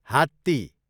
हात्ती